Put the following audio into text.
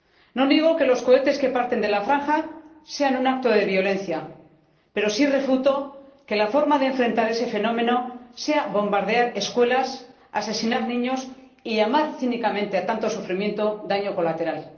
No niego que los cohetes que parten de la Franja sean un acto de violencia, pero sí refuto que la forma de afrontar ese fenómeno sea bombardear escuelas, asesinar niños y llamar cínicamente a tanto sufrimiento daño colateral.